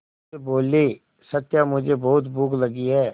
वे बोले सत्या मुझे बहुत भूख लगी है